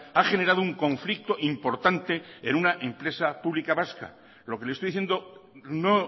ha generado un conflicto importante en una empresa pública vasca lo que le estoy diciendo no